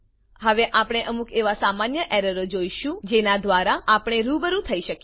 હવે આપણે અમુક એવાં સામાન્ય એરરોને જોઈશું જેનાં દ્વારા આપણે રૂબરૂ થઇ શકીએ